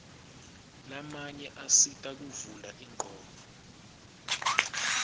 lamanye asita kuvula ingcondvo